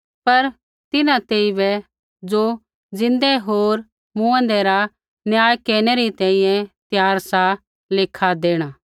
पर तिन्हां तेइबै ज़ो ज़िन्दै होर मूँऐंदै रा न्याय केरनै री तैंईंयैं त्यार सा लेखा देणा